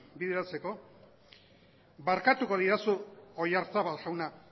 bideratzeko barkatuko didazu oyarzabal jauna